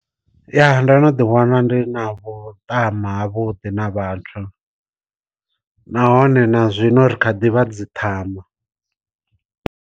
Ya ndo no ḓi wana ndi na vhuṱama ha vhuḓi na vhathu nahone na zwino ri kha ḓivha dzi ṱhama.